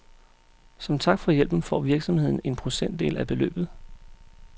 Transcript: Som tak for hjælpen får virksomheden en procentdel af beløbet.